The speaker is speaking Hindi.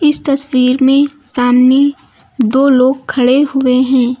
इस तस्वीर में सामने दो लोग खड़े हुए हैं।